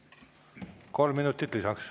Kolm minutit lisaks.